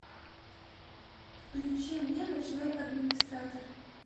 включи мне ночной администратор